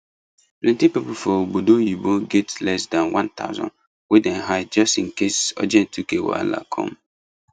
plenty people for ogbodo oyibo get less than one thousand way dem hide just in case urgent two k wahala come